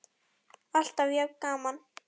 Alltaf jafn gaman!